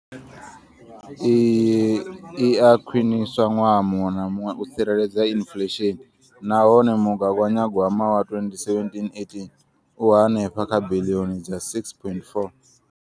Iyi i a khwiniswa ṅwaha muṅwe na muṅwe u tsireledza inflesheni nahone mugaganyagwama wa 2017, 18 u henefha kha biḽioni dza R6.4.